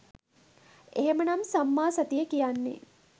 එහෙමනම් සම්මා සතිය කියන්නේ